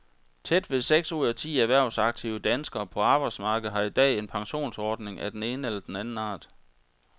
Tæt ved seks ud af ti erhvervsaktive danskere på arbejdsmarkedet har i dag en pensionsordning af den ene eller anden art.